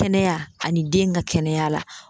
Kɛnɛya ani den ka kɛnɛya la.